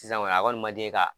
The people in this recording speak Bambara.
Sisan kɔni a kɔ ni man di ɲe ka.